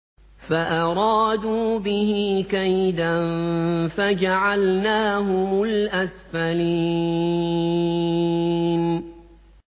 فَأَرَادُوا بِهِ كَيْدًا فَجَعَلْنَاهُمُ الْأَسْفَلِينَ